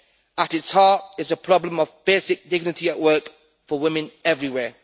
At its heart, it is a problem of basic dignity at work for women everywhere.